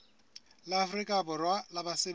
la afrika borwa la basebetsi